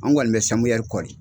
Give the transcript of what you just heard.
An kɔni bɛ samuyɛri kɔri.